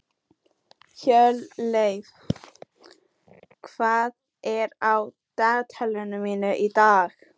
Hjörleif, hvað er á dagatalinu mínu í dag?